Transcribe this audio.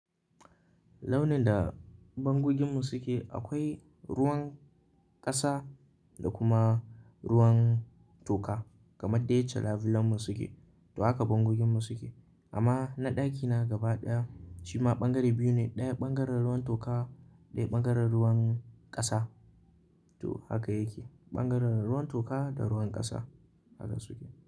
Launin da bangoginmu suke akwai ruwan ƙasa da kuma ruwan toka kamar dai chalavulanmu suke. To haka bangoginmu suke. Amma na ɗakina gaba ɗaya shima ɓangare biyu ne, ɗaya ɓangaren ruwan toka ɗaya ɓangaren ruwan ƙasa. To haka yake, ɓangaren ruwan toka da ruwan ƙasa haka suke.